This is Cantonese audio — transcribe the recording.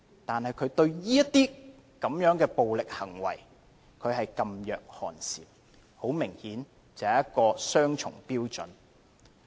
但是，她對於這些暴力行為，噤若寒蟬，很明顯她是持雙重標準。